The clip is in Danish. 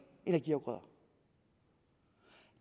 energiafgrøder